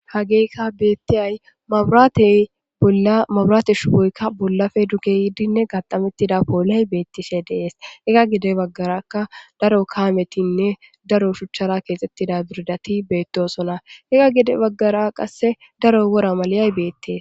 hageyka beettiyay eyamaburaate shuboykka bollafe duge yidinne gaxamettida pooley beettishe dees ega gide baggaraka daro kaametinne daro shuchchara keexxettida biridati beettosona ega gide baggara qasse daro wora maliyay beettees